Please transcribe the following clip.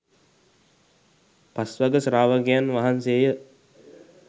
පස්වග ශ්‍රාවකයන් වහන්සේය.